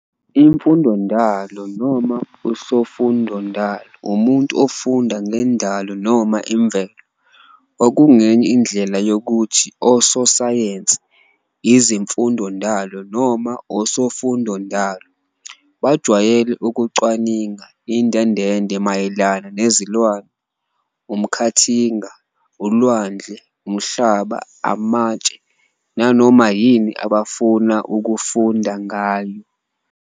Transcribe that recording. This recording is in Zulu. Imfundondalo, noma uSoFundondalo umuntu ofunda ngendalo noma imvelo, okungenye indlela yokuthi uSoSayensi. Izimfundondalo noma oSoFundondalo bajwayele ukucwaninga indendende mayelana nezilwane, umkhathinga, ulwandle, umhlaba, amatshe, nanoma yini abafuna ukufunda ngayo.